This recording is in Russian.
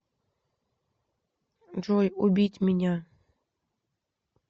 джой убить меня